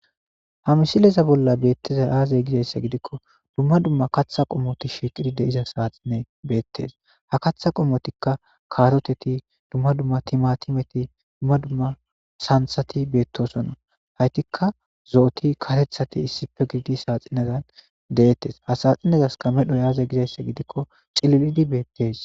Ha misileza bolla beettezay aazay gizayssa gidikko dumma dumma katha qommoti shiqidi de iza saaxine beettes ha katha qommotikka kaaroteti dumma dumma timatimeti dumma dumma santhati beettosonna haytikka zo'oti katethati issife gidi saaxinazan deettes hasaaxinazaska medhoy aazey gizayssa gidikko xililidi beettes.